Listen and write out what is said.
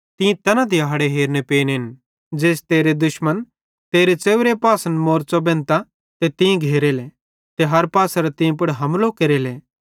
तीं तैना दिहाड़े हेरने पेनेन ज़ेइस तेरे दुश्मन तेरे च़ेव्रे पासन मोरच़ो बेंधतां ते तीं घेरो देले ते हर पासेरां तीं पुड़ हमलो केरेले